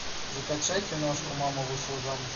закачай киношку мама вышла замуж